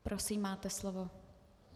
Prosím, máte slovo.